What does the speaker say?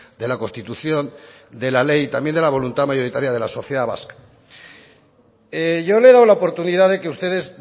de la constitución de la ley también de la voluntad mayoritaria de la sociedad vasca yo le he dado la oportunidad de que ustedes